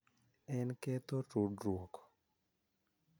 En ketho tudruok.